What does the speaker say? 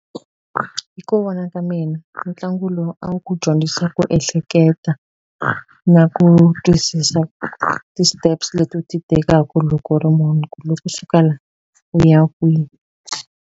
Hi ku vona ka mina ntlangu lowu a wu ku dyondzisa ku ehleketa na ku twisisa ti-steps leti u ti tekaku loko u ri munhu ku loko u suka laha u ya kwihi.